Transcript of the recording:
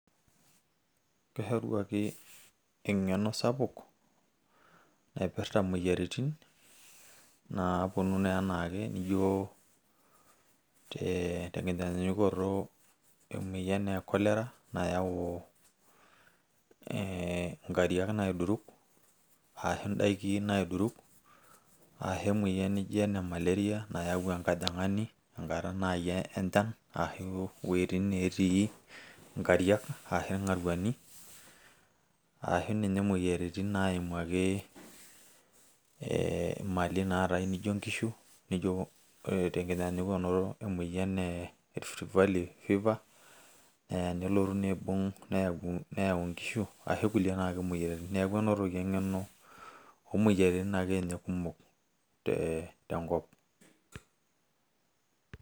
Keshori ake eng'eno sapuk naipirta imoyiaritin, naponu naa enaake nijo tenkinyanyukoto emoyian e Cholera, nayau eh inkariak naiduruk, ashu idaiki naiduruk, ashu emoyian nijo ene malaria nayau enkajang'ani nakata nai enchan, ashu weitin netii inkariak ashu ing'aruani, ashu ninye moyiaritin naimu ake eh mali naatae nijo nkishu, nijo tenkitanyanyukoto emoyian e Rift valley fever, naya nelotu niibung' neyau nkishu ashu kulie naake moyiaritin. Neeku enotoki eng'eno omoyiaritin akenye kumok te tenkop.